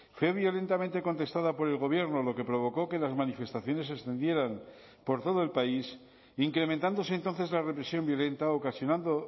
fue violentamente contestada por el gobierno lo que provocó que las manifestaciones se extendieran por todo el país incrementándose entonces la represión violenta ocasionando